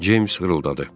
Ceyms xırıldadı.